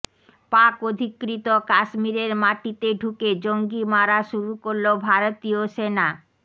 পাক অধিকৃত কাশ্মীরের মাটিতে ঢুকে জঙ্গি মারা শুরু করল ভারতীয় সেনা